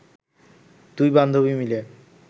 দুই বান্ধবী মিলে